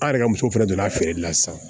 An yɛrɛ ka muso fɛnɛ donna feereli la sisan